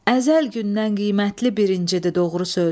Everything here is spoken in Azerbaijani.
Əzəl gündən qiymətli bir incidir doğru söz.